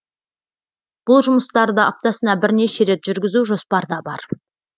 бұл жұмыстарды аптасына бірнеше рет жүргізу жоспарда бар